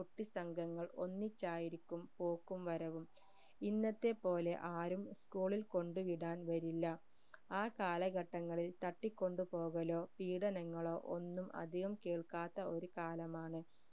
കുട്ടി സംഘങ്ങൾ ഒന്നിച്ചായിരിക്കും പോക്കും വരവും ഇന്നത്തെ പോലെ ആരും school ഇൽ കൊണ്ട് വിടാൻ വരില്ല ആ കാലഘട്ടങ്ങളിൽ തട്ടിക്കൊണ്ടുപോകലോ പീഡനങ്ങളോ ഒന്നും അധികം കേൾക്കാത്ത ഒരു കാലമാണ്